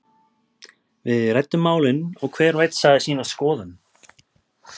Við ræddum málin og hver og einn sagði sína skoðun.